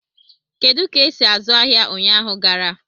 Kedu ka esi azụ ahịa ụnyaahụ gara?